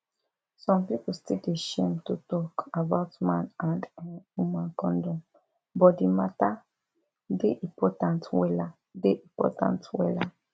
some pipu still dey shame to talk about man and[um]woman condom but di matter dey important wella dey important wella